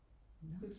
nå